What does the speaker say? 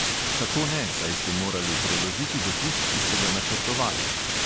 Kako ne, saj ste morali preložiti dopust, ki ste ga načrtovali.